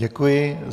Děkuji.